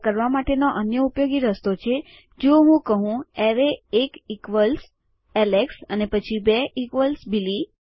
આ કરવા માટેનો અન્ય ઉપયોગી રસ્તો છે જો હું કહું એરેય એક ઇકવલ એલેક્સ અને પછી બે ઇકવલ બિલી